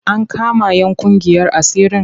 An kama 'yan ƙungiyar asirin?